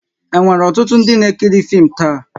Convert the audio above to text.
E nwèrè ọtụtụ ndị n'ekiri fim taa?